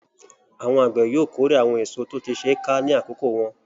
Àwọn àgbẹ̀ yóò kórè àwọn èso tó ti ṣe ká ní àkókò wọn.